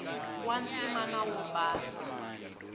wa ntima na wo basa